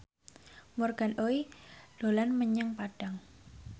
Morgan Oey dolan menyang Padang